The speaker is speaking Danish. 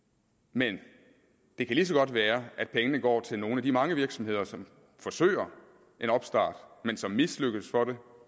men det kan lige så godt være at pengene går til nogle af de mange virksomheder som forsøger en opstart men som mislykkes